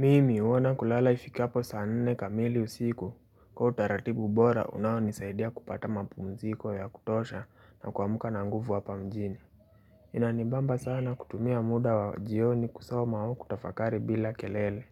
Mimi uona kulala ifikapo saa nne kamili usiku kwa utaratibu bora unaonisaidia kupata mapumziko ya kutosha na kwa amuka na nguvu hapa mjini Inanibamba sana kutumia muda wa jioni kusoma au kutafakari bila kelele